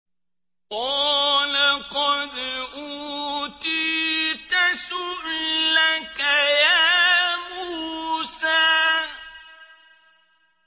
قَالَ قَدْ أُوتِيتَ سُؤْلَكَ يَا مُوسَىٰ